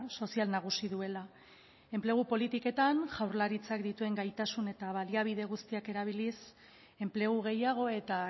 sozial nagusi duela enplegu politiketan jaurlaritzak dituen gaitasun eta baliabide guztiak erabiliz enplegu gehiago eta